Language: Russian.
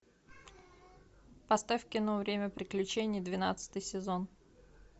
поставь кино время приключений двенадцатый сезон